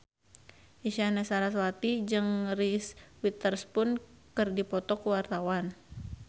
Isyana Sarasvati jeung Reese Witherspoon keur dipoto ku wartawan